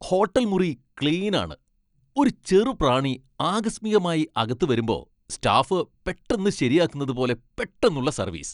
Hotel മുറി ക്ലീനാണ്, ഒരു ചെറുപ്രാണി ആകസ്മികമായി അകത്ത് വരുമ്പോ സ്റ്റാഫ് പെട്ടെന്ന് ശരിയാക്കുന്നത് പോലെ പെട്ടന്നുള്ള സർവീസ് .